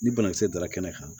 Ni banakisɛ dara kɛnɛ kan